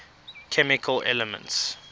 chemical elements